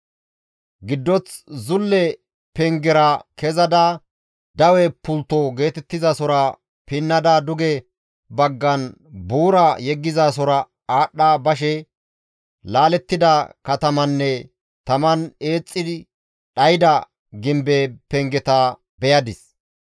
Giddoth zulle pengera kezada dawe pultto geetettizasora pinnada duge baggan buura yeggizasora aadhdha bashe laalettida katamanne taman eexxi dhayda gimbe pengeta beyadis.